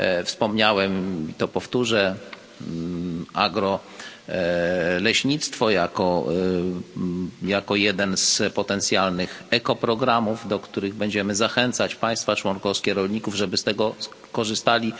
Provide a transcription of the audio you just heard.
Wspomniałem i powtórzę agro leśnictwo jako jeden z potencjalnych ekoprogramów, do których będziemy zachęcać państwa członkowskie, rolników, żeby z niego korzystali.